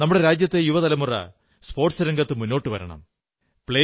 നമ്മുടെ രാജ്യത്തെ യുവതലമുറ കായിക രംഗത്ത് മുന്നോട്ടു വരണം